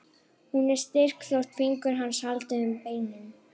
Hún er styrk þótt fingur hans haldi um beinin.